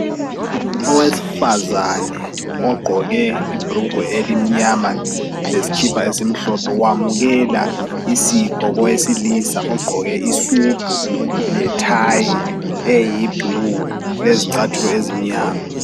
Owesifazane ogqoke ibrugwe elimnyama leskhipha esimhlophe wamukela isipho kowesilisa ogqoke isudu lethayi eyiblue lezcathulo ezimnyama.